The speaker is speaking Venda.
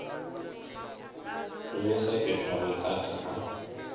shumisa fhethu ha madaka ha